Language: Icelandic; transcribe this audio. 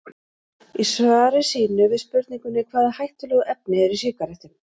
Í svari sínu við spurningunni Hvaða hættulegu efni eru í sígarettum?